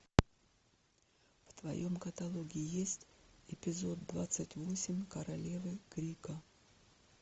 в твоем каталоге есть эпизод двадцать восемь королевы крика